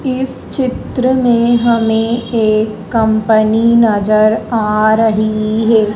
इस चित्र में हमें एक कंपनी नज़र आ रही है।